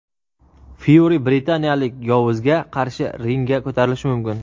Fyuri britaniyalik "yovuz"ga qarshi ringga ko‘tarilishi mumkin.